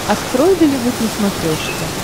открой голливуд на смотрешке